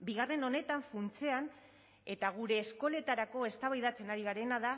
bigarren honetan funtsean eta gure eskoletarako eztabaidatzen ari garena da